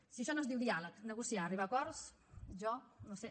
si això no es diu diàleg negociar arribar a acords jo no ho sé